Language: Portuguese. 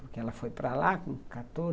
Porque ela foi para lá com quatorze